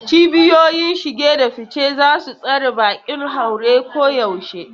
Cibiyoyin shige da fice za su tsare bakin haure koyaushe.